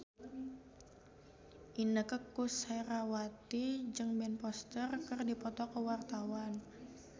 Inneke Koesherawati jeung Ben Foster keur dipoto ku wartawan